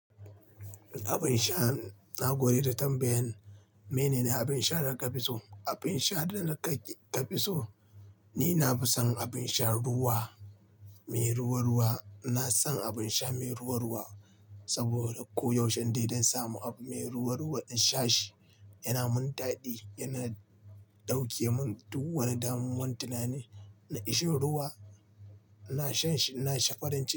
Abin sha na gode da tambayan. Mene ne abin sha da ka fi so? Abin sha da na ka fi so, ni na fi son abin sha ruwa, mai ruwa ruwa. Ina son abin sha mai ruwa ruwa saboda ko yaushe in dai dan samu abu mai ruwa ruwa in sha shi, yana min daɗi, yana ɗauke mun duk wani damuwan tinani. Na ishin ruwa, ina shan shi ina sha farin ciki.